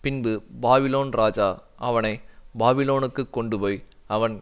பின்பு பாபிலோன் ராஜா அவனை பாபிலோனுக்கு கொண்டுபோய் அவன்